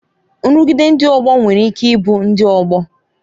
Nrụgide ndị ọgbọ nwere ike ịbụ ndị ọgbọ